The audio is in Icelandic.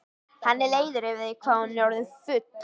Hann er leiður yfir því hvað hún er orðin full.